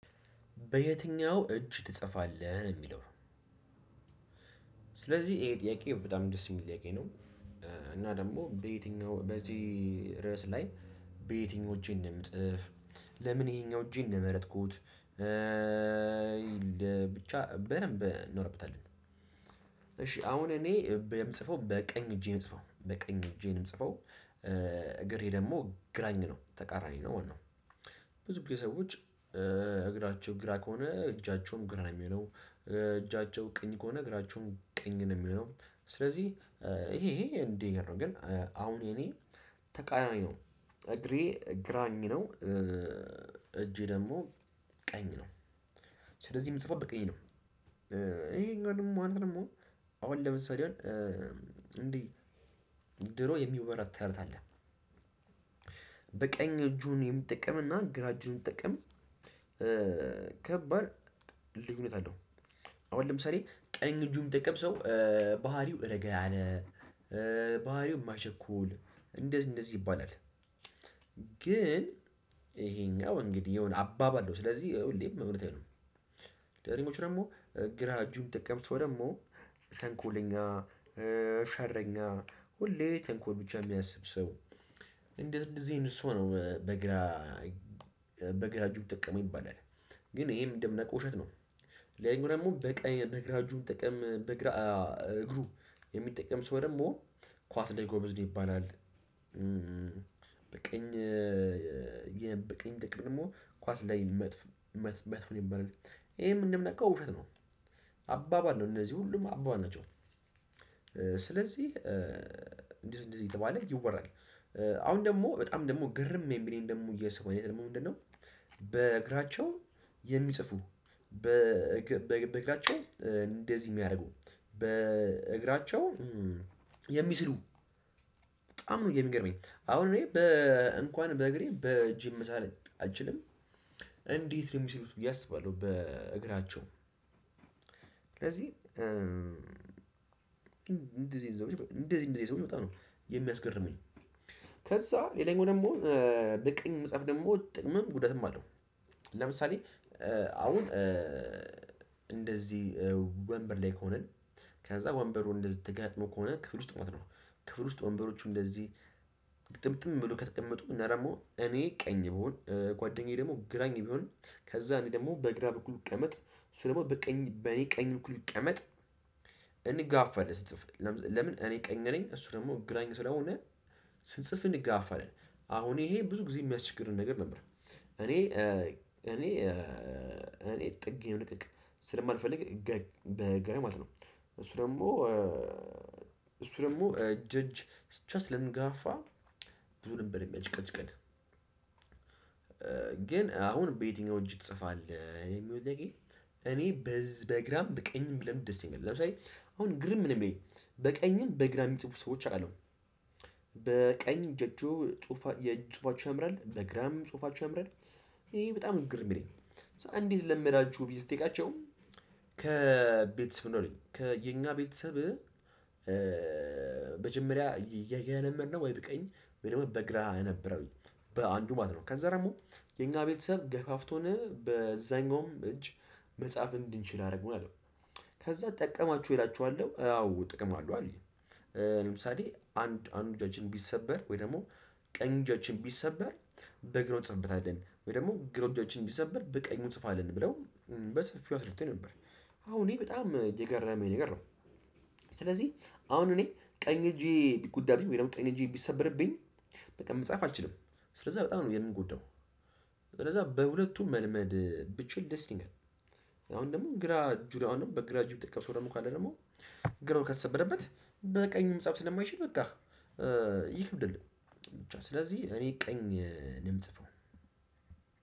በየትኛው እጅ ትጽፋለህ የሚለው? ስለዚህ ይሄ ጥያቄ በጣም ደስ የሚለየኝ ጥያቄ ነው። እና ደግሞ በየትኛው በዚህ ርዕስ ላይ በየትኞቼ እንደምጽፍ ለምን ይሄኛው እጄን እንደመረጥኩት። ብቻ በደንብ እናወራበታለን። እሺ አሁን እኔ የምጽፈው በቀኝ እጄ የምጽፈው በቀኝ እጄ። የምጽፈው እግሬ ደግሞ ግራኝ ነው ተቃራኒ ነው ወነው። ብዙ ጊዜ ሰዎች እግራቸው ግራ ከሆነ እጃቸውም ግራ ነው የሚለው እጃቸው ቀኝ ከሆነ እግራቸውም ቀኝ ነው የሚሆነው። ስለዚህ ይሄ ይሄ እንዴ ነው ግን አሁን የኔ ተቃራኒ ነው እግሬ ግራኝ ነው። እጄ ደግሞ ቀኝ ነው። ስለዚህ የምጽፋው በቀኝ ነው። ይሄ እኛ ነው ማለት ነው። አሁን ለምሳሌ እንዴ ድሮ የሚወራ ተረት አለ። በቀኝ እጁን የምጠቀምና ግራ እጁን የሚጠቀም ከባድ ልዩነት አለው። አሁን ለምሳሌ ቀኝ እጁ የሚጠቀም ሰው ባህሪው እረጋ ያለ ባህሪው መቸኮል እንደዚህ እንደዚህ ይባላል። ግን ይሄኛው እንግዲህ የሆነ አባባል ነው ስለዚህ ሁሌም እውነት አይሆንም ነው። ደሞ ደግሞ ግራ እጁን የሚጠቀም ሰው ደግሞ ተንኮለኛ ሸረኛ ሁሌ ተንኮል ብቻ የሚያስብ ሰው። እንደ እንደዚህ እኔ እሱ ነው በግራ በግራ እጁ የሚጠቀም ይባላል። ግን ይሄም እንደምናውቀው ውሸት ነው። ለኔ ደግሞ በቀኝ በግራ እጁን የሚጠቀም በግራ እግሩ የሚጠቀም ሰው ደግሞ ኳስ ላይ ጎበዝ ነው ይባላል። በቀኝ በቀኝ ደግሞ ኳስ ላይ መጥፎ መጥፎ ይባላል። ይሄም እንደምናውቀው ውሸት ነው አባባል ነው እነዚህ ሁሉም አባባል ነው። ስለዚህ እንዲህ እንዲህ የተባለ ይወራል። አሁን ደግሞ በጣም ደግሞ ግርም የሚለኝ ደግሞ የሰው አይነት ደግሞ ምንድነው? በግራቸው የሚጽፉ በእግራቸው እንደዚህ የሚያደርጉ በእግራቸው የሚስሉ በጣም ነው የሚገርመኝ አሁን እኔ በእንኳን በእግሬ በእጄም መሳል አልችልም። እንዴት ነው የሚሰሩት ብዬ አስባለሁ። በእግራቸው ስለዚህ እንደዚህ እንደዚህ እንደዚህ ሰው ይወጣ ነው። የሚያስገርመኝ ከዛ ሌላኛው ደግሞ በቀኝ መጻፍ ደግሞ ጥቅምም ጉዳትም አለው። ለምሳሌ አሁን እንደዚህ ወንበር ላይ ከሆንን ከዛ ወንበሩን እንደተጋጥሞ ከሆነ ክፍል ውስጥ ማለት ነው። ክፍል ውስጥ ወንበሮቹ እንደዚህ ጥምጥም ብሎ ከተቀመጡ እና ደግሞ እኔ ቀኝ ብሆን ጓደኛዬ ደግሞ ግራኝ ቢሆንም ከዛ እኔ ደግሞ በግራ በኩል ቢቀመጥ እሱ ደግሞ በቀኝ በኔ ቀኝ በኩል ብቀመጥ እንጋፋለን። ለምን እኔ ቀኝ ነኝ እሱ ደግሞ ግራኝ ስለሆነ ስንጽፍ እንጋፋለን። አሁን ይሄ ብዙ ጊዜ የሚያስቸግረን ነገር ነበር። እኔ እኔ እኔ ጥግ የለቀቅ ስለማልፈልግ በግራ ማለት ነው። እሱ ደግሞ እሱ ደግሞ እጅ ለእጅ ስንጋፋ ብዙ ነበር የሚያጭቀጭቀድ። ግን አሁን በየትኛው እጅ ትጽፋለህ? እኔ በዚህ በግራም በቀኝም ለምድር ይነግራል ለምሳሌ አሁን ግርም ምንም በቀኝም በግራ የሚጽፉ ሰዎች አሉ። በቀኝ እጃቸው ጽሁፋቸው ያምራል በግራም ጽሁፋቸው ያምራል። ይሄ በጣም ግርም የሚለኝ ነው እንዴት ለመዳችሁ ብየ ስጠይቃቸው? ከቤተሰብ ነው ከየኛ ቤተሰብ። በመጀመሪያ የለመድነው ወይ በቀኝ ወይ ደግሞ በግራ ነበረ። በአንዱ ማለት ነው ከዛ ደግሞ የኛ ቤተሰብ ገፋፍቶን በዛኛውም እጅ መጻፍ እንድንችል አደርገዋለሁ። ከዛ ጠቀማችሁ እላችኋለሁ አዎ ጥቅም አለው አለው። ለምሳሌ አንድ አንድ እጃችን ቢሰበር ወይ ደግሞ ቀኝ እጃችን ቢሰበር በግራ እንጽፍበታለን ደግሞ ግራው እጃችን ቢሰበር በቀኙ ጽፋለን ብለው በሰፊው አስረተኝ ነበር። አሁን እኔ በጣም እየገረመኝ ነገር ነው። ስለዚህ አሁን እኔ ቀኝ እጄ ቢጎዳብኝ ወይም ቀኝ እጄ ቢሰበርብኝ በቃ መጻፍ አልችልም። ስለዛ በጣም ነው የምጎዳው። ስለዛ በሁለቱም መልመድ ብችል ደስ ይለኛል። አሁን ደግሞ ግራ እጁራ አሁን በግራ እጁም የሚጠቀም ሰው ደግሞ ካለ ደግሞ ግራው ከተሰበረበት በቀኙም መጻፍ ስለማይችል በቃ ይከብዳል። ብቻ እኔ በቀኝ እምጽፈው